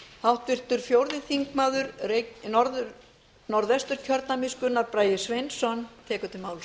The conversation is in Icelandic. háttvirtur fjórði þingmaður norðvesturkjördæmis gunnar bragi sveinsson tekur til máls